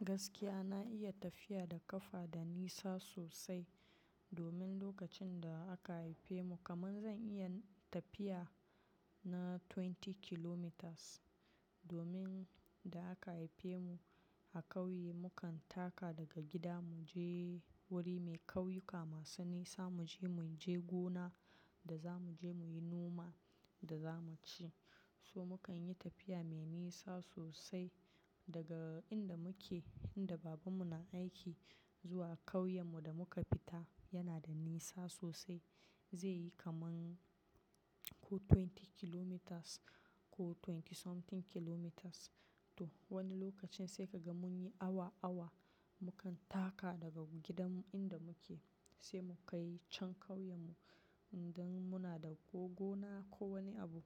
Gaskiya na iya tafiya da ƙafa da nisa sosai domin lokacin da aka haife mu, kaman zan iya tafiya na 20 kilometers. Domin da aka haife mu a ƙauye, mukan taka daga gida mu je wuri mai kauyuka masu nisa, mu je mu je gona da za mu je mu yi noma da za mu ci. So mukan yi tafiya mai nisa sosai daga inda muke, inda babanmu na aiki zuwa ƙauyenmu da muka fita, yana da nisa sosai. Zai yi kaman ko 20 kilometers ko twenty something kilometers toh wani lokacin sai ka ga mun yi awa, awa. Mukan taka daga gidanmu inda muke sai mukai can ƙauyenmu idan muna da ko gona ko wani abu.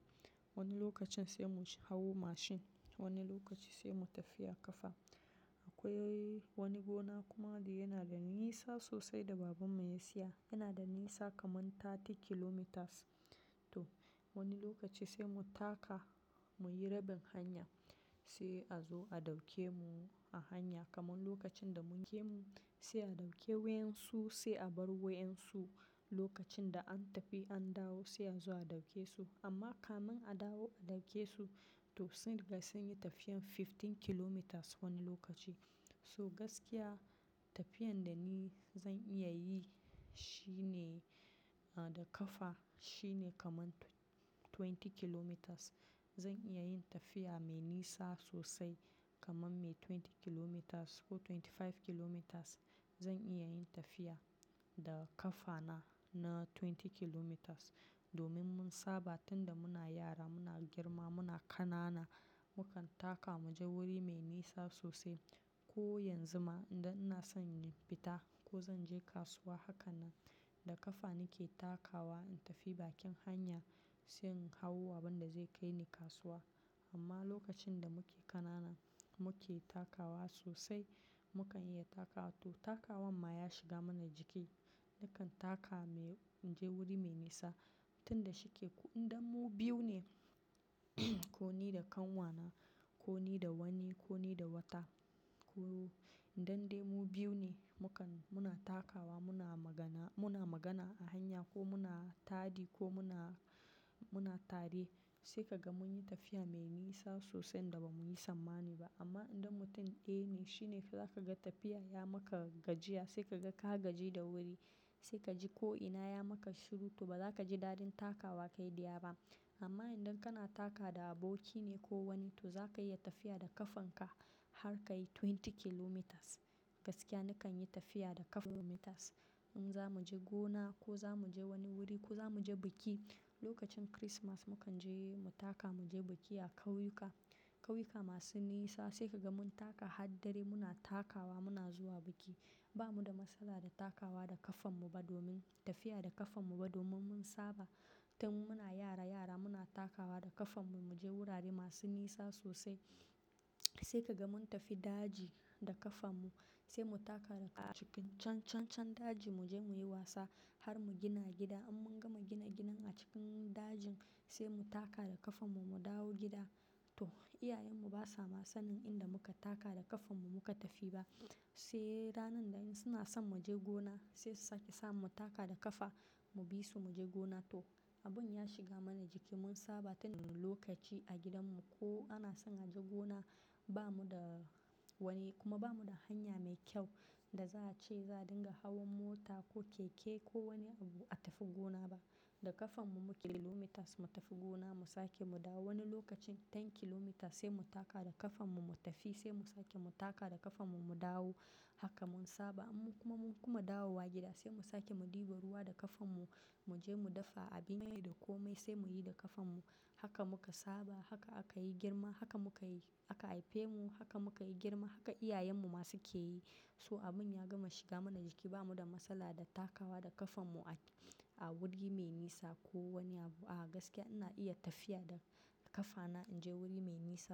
Wani lokacin sai mu hau mashin, wani lokaci sai mu tafiya ƙafa. Akwai wani gona kuma da yana da nisa sosai da baban mu ya siya, yana da nisa kaman 30 kilometers toh wani lokaci sai mu taka, mu yi rabin hanya sai a zo a ɗauke mu a hanya. Kaman lokacin da mun je mu, sai a ɗauke wayan su sai a bar wayan su. Lokacin da an tafi an dawo sai a zo a dauke su. Amma kamin a dawo a dauke su, to kaga sunyi tafiya kaman na 15 kilometers lokacin. So gaskiya tafiyan da ni zan iya yi shine da ƙafa shine kaman 20 kilometers. Zan iya yin tafiya mai nisa sosai kaman mai 20 kilometers ko 25 kilometers. Zan iya yin tafiya da ƙafana na 20 kilometers domin mun saba tun da muna yara muna girma muna ƙanana mukan taka mu je wuri mai nisa sosai. Ko yanzu ma idan ina son in fita ko zan je kasuwa, hakan nan da ƙafa nake takawa in tafi bakin hanya sai in hau abin da zai kai ni kasuwa. Amma lokacin da muke ƙanana muke takawa sosai. Mukan iya takawa, to takawan ma shiga mana jiki. Nakan taka muyi-- in je wuri mai nisa tun da shi ke-- Indan mu biyu ne ko ni da kanwana ko ni da wani ko ni da wata to idan dai mu biyu ne mukan, muna takawa muna magana, muna magana a hanya ko muna taɗi ko muna, muna tare sai ka ga mun yi tafiya mai nisa sosai inda ba mu yi sammani ba. Amma idan mutum ɗaya ne shi ne za ka ga tafiya ya maka gajiya sai ka ga ka gaji da wuri sai ka ji ko ina ya maka shiru toh ba za ka ji daɗin takawa kai dayaba. Amma idan kana taka da aboki ne ko wani toh za ka iya tafiya da ƙafanka har ka yi 20 kilometers. Gaskiya nakan yi tafiya da ƙafa kilometers. In za mu je gona ko za mu je wani wuri ko za mu je biki. Lokacin Kirismas mu kan je mu taka, mu je biki a ƙauyuka, ƙauyuka masu nisa sai ka ga mun taka har dare. Muna takawa muna zuwa biki. Bamu da matsala da takawa da kafan mu ba domin-- tafiya da kafan mu ba domin mun saba. Tun muna yara yara muna takawa da kafan mu muje wurare masu nisa sosai. Sai kaga mun tafi daji da ƙafanmu sai mu taka cikin can, can, can daji mu je mu yi wasa har mu gina gida. In mun gama gina gidan a cikin dajin sai mu taka da ƙafanmu mu dawo gida. Toh, iyayenmu ba sa ma sanin inda muka taka da ƙafanmu muka tafi ba. Sai ranar da in suna son mu je gona sai su sake sa mu taka da ƙafa mu bi su mu je gona toh abun ya shiga mana jiki mun saba tun lokaci a gidanmu ko ana son a je gona ba mu da wani kuma ba mu da hanya mai kyau da za a ce za dinga hawan mota ko keke ko wani abu a tafi gona ba. Da ƙafanmu muke kilometers mu tafi gona mu sake mu dawo. Wani lokacin 10 kilometers sai mu taka da ƙafanmu mu tafi sai mu sake mu taka da ƙafanmu mu dawo haka mun saba. Amma kuma mun kuma dawo wa gida sai mu sake mu ɗiba ruwa da ƙafanmu mu je mu dafa abinci da komai sai mu yi da ƙafanmu. Haka muka saba, haka aka yi girma, haka muka aka haife mu, haka muka yi girma, haka iyayenmu masu ke yi. So abun ya gama shiga mana jiki ba mu da matsala da takawa da ƙafanmu a wuri mai nisa ko wani abu. A gaskiya ina iya tafiya da ƙafana in je wuri mai nisa.